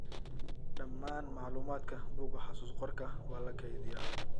Dhammaan macluumaadka buugga xusuus-qorka waa la keydiyaa.